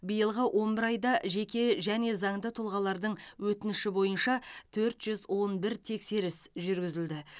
биылғы он бір айда жеке және заңды тұлғалардың өтініші бойынша төрт жүз он бір тексеріс жүргізілді